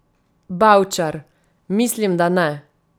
Bavčar: 'Mislim, da ne.